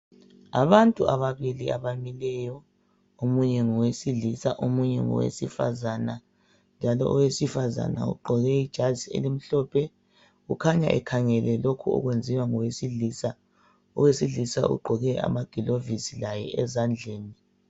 Abantu ababili abamileyo. Omunye ngowesifazana, omunye ngowesilisa. njalo owesifazana ugqoke ijazi elimhlophe. Ukhanya ekhangele lokho okwenziwa ngowesilisa. Owesilisa ugqoke amagilovisi, laye ezandleni.